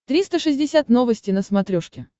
триста шестьдесят новости на смотрешке